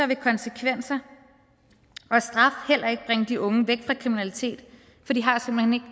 vil konsekvenser og straf heller ikke bringe de unge væk fra kriminalitet for de har simpelt